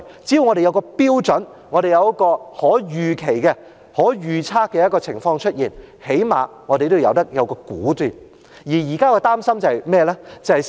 只要我們有一個標準，有一個可預期、可預測的情況，最低限度我們也有一個"估"字。